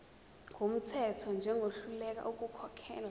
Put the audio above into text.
wumthetho njengohluleka ukukhokhela